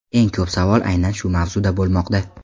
Eng ko‘p savol aynan shu mavzuda bo‘lmoqda.